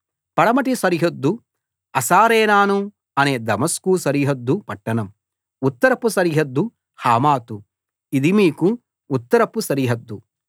పడమటి సరిహద్దు హసరేనాను అనే దమస్కు సరిహద్దు పట్టణం ఉత్తరపు సరిహద్దు హమాతు ఇది మీకు ఉత్తరపు సరిహద్దు